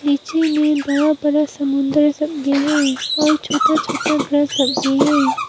पीछे में बड़ा बड़ा समुंदर सब भी है और छोटा छोटा घास सब भी हैं।